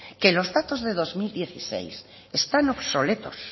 que los datos de dos mil dieciséis están obsoletos